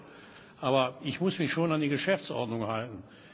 Das ist toll, aber ich muss mich schon an die Geschäftsordnung halten.